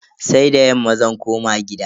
Sai da yamma zan koma gida.